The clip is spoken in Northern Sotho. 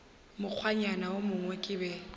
mokgwanyana wo mongwe ke be